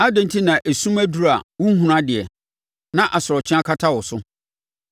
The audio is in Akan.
adɛn enti na esum aduru a wonhunu adeɛ, na asorɔkye akata wo so.